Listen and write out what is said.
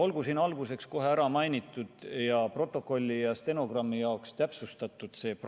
Olgu siin kohe alguses ära mainitud, protokolli ja stenogrammi jaoks täpsustatud, et sellele